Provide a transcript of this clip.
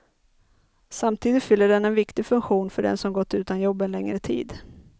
Samtidigt fyller den en viktig funktion för den som gått utan jobb en längre tid.